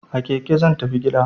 A keke zan tafi gida!